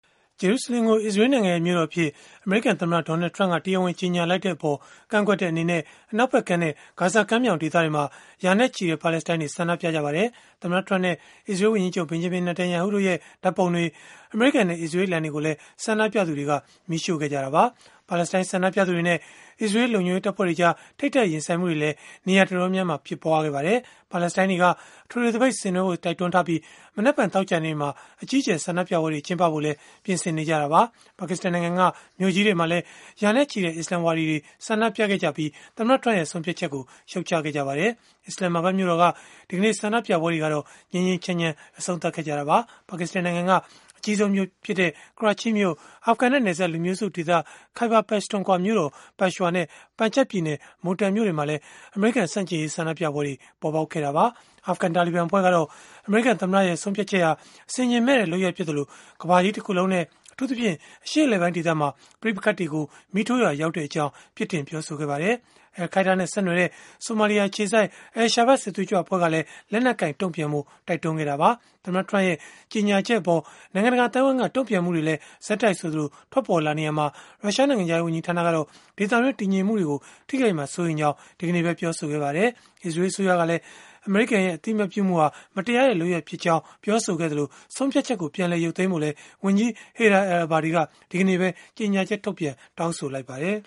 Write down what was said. ဂျေရုဆလင်ကို အစ္စရေးလ်နိုင်ငံရဲ့ မြို့တော်အဖြစ် အမေရိကန် သမ္မတ Donald Trump က တရားဝင် ကြေညာလိုက်တဲ့အပေါ် ကန့်ကွက်တဲ့ အနေနဲ့ အနောက်ဖက်ကမ်းနဲ့ ဂါဇာကမ်းမြှောင်ဒေသတွေမှာ ရာနဲ့ချီတဲ့ ပါလက်စတိုင်းတွေ ဆန္ဒပြကြပါတယ်။ သမ္မတ Trump နဲ့ အစ္စရေးလ် ဝန်ကြီးချုပ် Benjamin Netanyahu တို့ရဲ့ ဓာတ်ပုံတွေ၊ အမေရိကန်နဲ့ အစ္စရေးလ်အလံတွေကိုလည်း ဆန္ဒပြသူတွေက မီးရှို့ခဲ့ကြတာပါ။ ပါလက်စတိုင်းဆန္ဒပြသူတွေနဲ့ အစ္စရေးလ် လုံခြုံရေးတပ်ဖွဲ့တွေကြား ထိပ်တိုက်ရင်ဆိုင်မှုတွေလည်း နေရာတော်တော်များများမှာ ဖြစ်ပွားခဲ့ပါတယ်။ ပါလက်စတိုင်းတွေက အထွေထွေသပိတ် ဆင်နွှဲဖို့ တိုက်တွန်းထားပြီး၊ မနက်ဖြန် သောကြာနေ့မှာ အကြီးအကျယ် ဆန္ဒပြပွဲတွေ ကျင်းပဖို့လည်း ပြင်ဆင်နေကြတာပါ။ ပါကစ္စတန်နိုင်ငံက မြို့ကြီးတွေမှာလည်း ရာနဲ့ချီတဲ့ အစ္စလာမ်ဝါဒီတွေ ဆန္ဒပြခဲ့ကြပြီး သမ္မတ Trump ရဲ့ ဆုံးဖြတ်ချက်ကို ရှုတ်ချခဲ့ကြပါတယ်။ အစ္စလာမ်မာဘတ်မြို့တော်က ဒီကနေ့ ဆန္ဒပြပွဲတွေကတော့ ငြိမ်းငြိမ်းချမ်းချမ်း အဆုံးသတ်ခဲ့ကြတာပါ။ ပါကစ္စတန်နိုင်ငံက အကြီးဆုံးမြို့ဖြစ်တဲ့ ကရာချိမြို့၊ အာဖဂန်နဲ့နယ်စပ် လူမျိုးစုဒေသ Khyber Pakhtunkhwa မြို့တော် ပက်ရှ်ဝါနဲ့ ပန်ဂျပ်ပြည်နယ် Multan မြို့တွေမှာလည်း အမေရိကန် ဆန့်ကျင်ရေး ဆန္ဒပြပွဲတွေ ပေါ်ပေါက်ခဲ့တာပါ။ အာဖဂန် တာလီဘန်အဖွဲ့ကတော့ အမေရိကန်သမ္မတရဲ့ ဆုံးဖြတ်ချက်ဟာ အဆင်ခြင်မဲ့တဲ့ လုပ်ရပ်ဖြစ်သလို၊ ကမ္ဘာကြီးတခုလုံးနဲ့ အထူးသဖြင့် အရှေ့အလယ်ပိုင်းဒေသမှာ ပဋိပက္ခတွေကို မီးထိုးရာ ရောက်ကြောင်း ပြစ်တင်ပြောဆိုခဲ့ပါတယ်။ အယ်လ်ခိုင်းဒါးနဲ့ ဆက်နွယ်တဲ့ ဆိုမာလီယာ အခြေစိုက် Al-Shabab စစ်သွေးကြွ အဖွဲ့ကလည်း လက်နက်ကိုင် တုန့်ပြန်ဖို့ တိုက်တွန်းခဲ့တာပါ။ သမ္မတ Trump ရဲ့ ကြေညာချက်အပေါ် နိုင်ငံတကာ အသိုင်းအဝန်းက တုန့်ပြန်မှုတွေလည်း ဆက်တိုက်ဆိုသလို ထွက်ပေါ်လာနေရာမှာ၊ ရုရှားနိုင်ငံခြားရေး ဝန်ကြီးဌာနကတော့ ဒေသတွင်း တည်ငြိမ်မှုတွေကို ထိခိုက်မှာကို စိုးရိမ်ကြောင်း ဒီကနေ့ပဲ ပြောဆိုခဲ့ပါတယ်။ အီရတ်အစိုးရကလည်း အမေရိကန်ရဲ့ အသိအမှတ်ပြုမှုဟာ မတရားတဲ့ လုပ်ရပ်ဖြစ်ကြောင်း ပြောဆိုခဲ့သလို၊ ဆုံးဖြတ်ချက်ကို ပြန်လည်ရုပ်သိမ်းဖို့လည်း ဝန်ကြီးချုပ် Haider al-Abadi က ဒီကနေ့ပဲ ကြေညာချက်ထုတ်ပြန် တောင်းဆိုလိုက်ပါတယ်